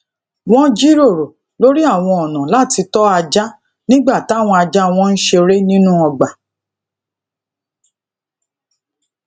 wón jíròrò lori awon ona lati to aja nígbà tawon aja won ń ṣeré nínú ọgbà